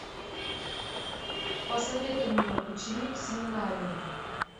посоветуй мне ученик семинарии